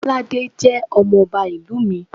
Bolade jẹ́ ọmọ ọba ìlú mi.